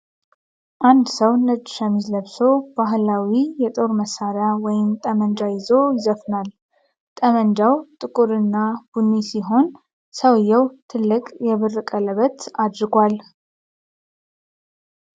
አንድ ሰው ነጭ ሸሚዝ ለብሶ ባህላዊ የጦር መሳሪያ (ጠመንጃ) ይዞ ይዘፍናል። ጠመንጃው ጥቁር እና ቡኒ ሲሆን ሰውዬው ትልቅ የብር ቀለበት አድርጓል።